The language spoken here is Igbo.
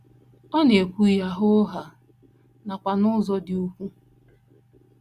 Ọ na - ekwu ya hoo haa, nakwa n’ụzọ dị ùgwù.